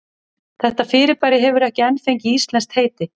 Þetta fyrirbæri hefur ekki enn fengið íslenskt heiti.